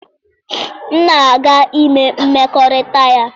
M na-aga ime mmekọrịta ya.